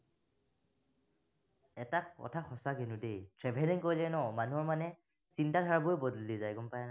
এটা কথা সঁচা কিন্তু দেই, traveling কৰিলে ন, মানুহৰ মানে চিন্তা ধাৰাবোৰেই গম পায় না